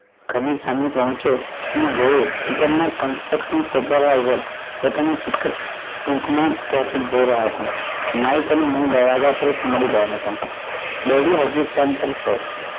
ઘર ની સામે પોહચયો જોયું construction supervissior પોતાના જઈ રહ્યા હતા માઇક અને હું બરાબર મળી ગયા હતા daddy હજુ ફોન પર છે